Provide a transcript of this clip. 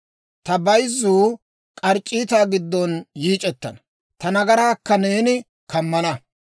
Ta bayzzuu k'arc'c'iitaa giddon yiic'ettana; ta nagaraakka neeni kammana.